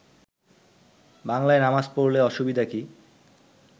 বাংলায় নামাজ পড়লে অসুবিধা কি